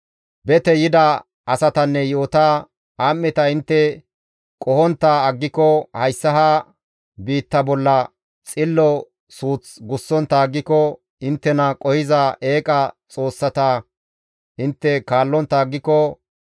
bete yida asatanne yi7ota, am7eta intte qohontta aggiko, hayssa ha biitta bolla xillo suuth gussontta aggiko, inttena qohiza eeqa xoossata intte kaallontta aggiko,